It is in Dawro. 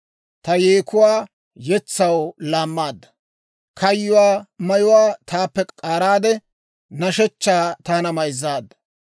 Ta yeekuwaa yetsaw laammaadda. Kayyuwaa mayuwaa taappe k'aaraade, nashshechchaa taana mayzzaadda.